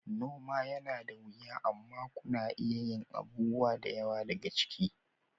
Noma yana da wiya amma kuna iya yin abubuwa da yawa daga ciki.